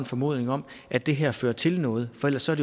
formodning om at det her fører til noget for ellers er